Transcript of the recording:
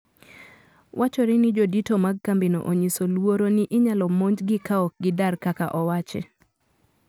Wachore ni jodito mag kambino onyiso luoro ni inyalo monjgi kaokgi dar kaka owachi.